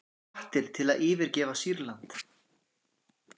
Hvattir til að yfirgefa Sýrland